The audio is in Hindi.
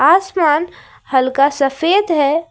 आसमान हल्का सफेद है।